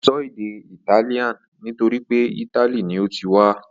Ó ń sọ èdè Italian nítorí pé italy ni ó ti wá.